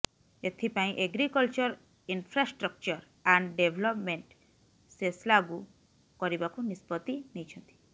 ଏଥିପାଇଁ agriculture infrastructure and development ସେସ୍ଲାଗୁ କରିବାକୁ ନିଷ୍ପତ୍ତି ନେଇଛନ୍ତି